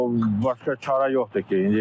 Başqa çarə yoxdur ki.